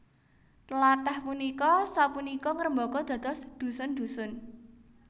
Tlathah punika sapunika ngrembaka dados dhusun dhusun